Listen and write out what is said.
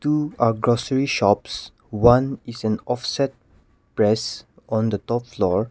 in a grocery shops one is an offset press on the top floor.